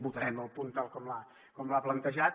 votarem el punt tal com l’ha plantejat